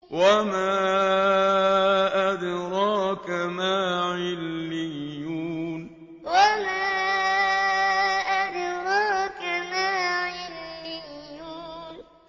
وَمَا أَدْرَاكَ مَا عِلِّيُّونَ وَمَا أَدْرَاكَ مَا عِلِّيُّونَ